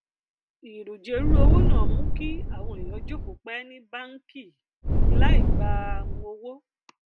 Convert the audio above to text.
ìrùjèrú owó náà mú kí àwọn èèyàn jókòó pẹ ní báàǹkì um láì gba um owó